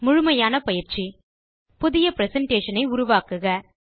முழுமையான பயிற்சி புதிய பிரசன்டேஷன் ஐ உருவாக்குங்கள்